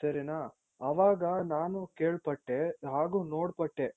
ಸರಿನ ಆವಾಗ ನಾನು ಕೇಳ್ಪಟ್ಟೆ ಹಾಗೂ ನೋಡ್ಪಟ್ಟೆ